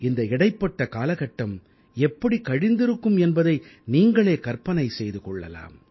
இந்த இடைப்பட்ட காலகட்டம் எப்படி கழிந்திருக்கும் என்பதை நீங்களே கற்பனை செய்து கொள்ளலாம்